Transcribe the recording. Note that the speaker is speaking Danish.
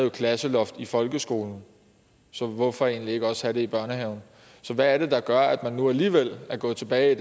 et klasseloft i folkeskolen så hvorfor egentlig ikke også have det i børnehaven så hvad er det der gør at man nu alligevel er gået tilbage